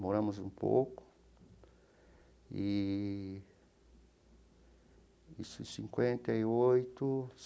Moramos um pouco eee e isso em cinquenta e oito.